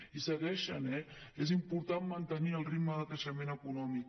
i segueixen eh és important mantenir el ritme de creixement econòmic